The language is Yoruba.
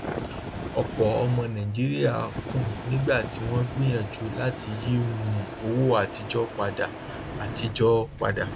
ọpọ ọmọ nàìjíríà kùn nígbà tí wọn gbìyànjú láti yí um owó àtijọ padà àtijọ padà